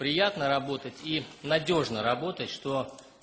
приятно работать и надёжно работать что